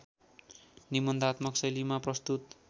निबन्धात्मक शैलीमा प्रस्तुत